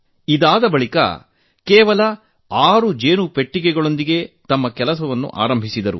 ಅವರು ಕೇವಲ ಆರು ಜೇನು ಪೆಟ್ಟಿಗೆಗಳೊಂದಿಗೆ ತಮ್ಮ ಕೃಷಿ ಆರಂಭಿಸಿದರು